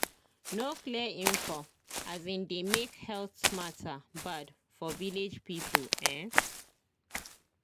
no clear info um dey make health matter bad for village people ehn